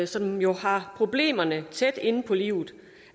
som jo har problemerne tæt inde på livet